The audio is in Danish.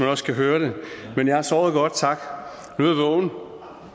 også kan høre det men jeg har sovet godt tak nu